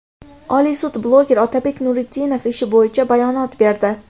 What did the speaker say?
Oliy sud bloger Otabek Nuritdinov ishi bo‘yicha bayonot berdi.